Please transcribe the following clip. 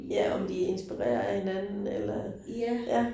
Ja, om de inspireret af hinanden eller ja